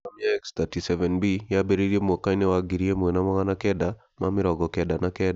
Program ya X-37B yambĩrĩirie mwaka-inĩ wa ngiri ĩmwe na magana kenda ma mĩrongo kenda na kenda